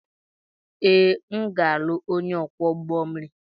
Ee, m ga-alụ onye ọkwọ ụgbọ mmiri.